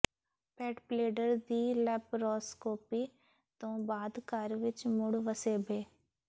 ਪੈਟਬਲੇਡਰ ਦੀ ਲੈਪਰੋਸਕੋਪੀ ਤੋਂ ਬਾਅਦ ਘਰ ਵਿਚ ਮੁੜ ਵਸੇਬੇ